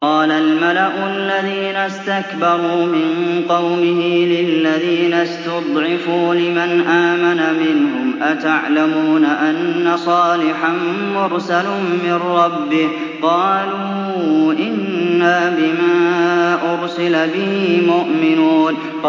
قَالَ الْمَلَأُ الَّذِينَ اسْتَكْبَرُوا مِن قَوْمِهِ لِلَّذِينَ اسْتُضْعِفُوا لِمَنْ آمَنَ مِنْهُمْ أَتَعْلَمُونَ أَنَّ صَالِحًا مُّرْسَلٌ مِّن رَّبِّهِ ۚ قَالُوا إِنَّا بِمَا أُرْسِلَ بِهِ مُؤْمِنُونَ